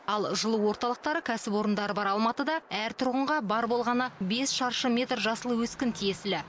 ал жылу орталықтары кәсіпорындары бар алматыда әр тұрғынға бар болғаны бес шаршы метр жасыл өскін тиесілі